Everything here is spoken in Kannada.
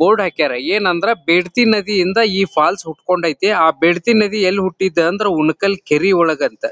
ಬೋರ್ಡ್ ಹಾಕ್ಯರ್ ಏನ್ ಅಂದ್ರೆ ಬಿಡ್ತಿ ನದಿಯಿಂದ ಈ ಫಾಲ್ಸ್ ಹುಟ್ಟ್ಕೊಂಡ್ ಐತಿ ಆ ಬಿಡ್ತಿ ನದಿ ಎಲ್ಲಿ ಹುಟ್ಟಿದ್ ಅಂದ್ರೆ ಉಣ್ಣಕಲ್ ಕೆರೆ ಒಳಗ್ ಅಂತೇ.